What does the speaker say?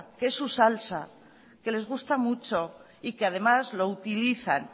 que es su salsa que les gusta mucho y que además lo utilizan